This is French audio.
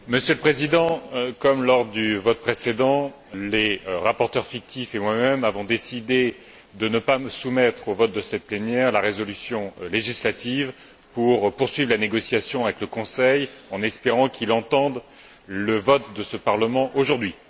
Monsieur le Président, comme lors du vote précédent, les rapporteurs fictifs et moi même avons décidé de ne pas soumettre au vote de cette plénière la résolution législative pour poursuivre les négociations avec le Conseil, en espérant qu'il entende le vote de ce Parlement aujourd'hui.